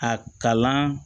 A kalan